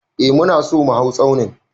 Eh mu na so mu hau tsaunin.